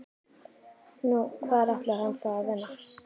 Nú, hvar ætlar hann þá að vinna?